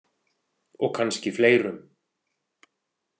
Og kannski fleirum.